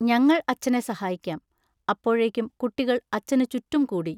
ഞങ്ങൾ അച്ഛനെ സഹായിക്കാം. അപ്പോഴേക്കും കുട്ടികൾ അച്ഛന് ചുറ്റും കൂടി.